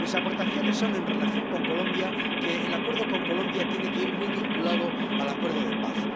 Mis aportaciones son, en relación con Colombia, que el acuerdo con este país tiene que ir muy vinculado al acuerdo de paz.